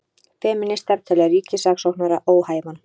Femínistar telja ríkissaksóknara óhæfan